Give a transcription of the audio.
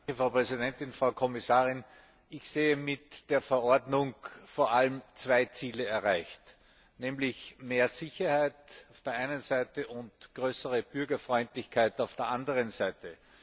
Frau Präsidentin, Frau Kommissarin! Ich sehe mit der Verordnung vor allem zwei Ziele erreicht, nämlich mehr Sicherheit auf der einen Seite und größere Bürgerfreundlichkeit auf der anderen Seite.